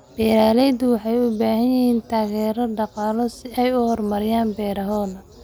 Beeraleydu waxay u baahan yihiin taageero dhaqaale si ay u horumariyaan beerahooda.